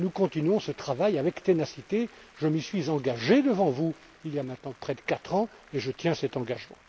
Nous poursuivons ce travail avec ténacité je m'y suis engagé devant vous, il y a maintenant près de quatre ans, et je tiens aujourd'hui cet engagement.